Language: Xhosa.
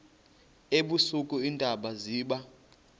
ebusika iintaba ziba